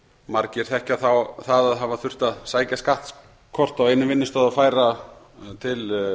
margir þekkja það að hafa þurft að sækja skattkort á einum vinnustað og færa til